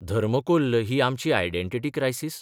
धर्मकोल्ल ही आमची identity crisis?